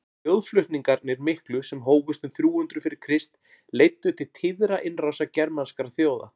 þjóðflutningarnir miklu sem hófust um þrjú hundruð fyrir krist leiddu til tíðra innrása germanskra þjóða